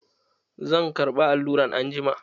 Zan ƙarba alluran anjima.